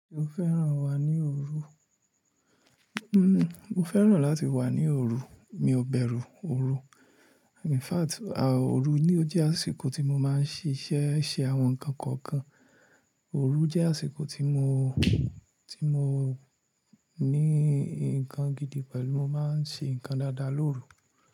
Mo fẹ́ràn wà ní òru. Mo fẹ́ràn láti wà ní òru. Mi ò bẹ̀rù òru. In fact, òru ni ó jẹ́ àsìkò tí mo máa ń ṣíṣe ṣe àwọn ǹkan kọ̀ọ̀kan. Òru jẹ́ àsìkò tí mo, tí mo ní nǹkan gidi pẹ̀lú mo máa ń ṣe ǹkan dáadáa lóru.